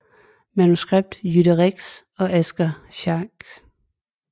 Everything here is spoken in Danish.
Manuskript Jytte Rex og Asger Schnack